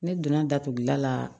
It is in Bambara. Ne donna datuguda la